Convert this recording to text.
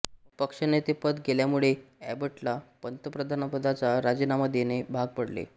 पक्षनेतेपद गेल्यामुळे एबटला पंतप्रधानपदाचा राजीनामा देणे भाग पडले